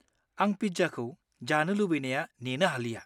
आं पिज्जाखौ जानो लुगैनाया नेनो हालिया।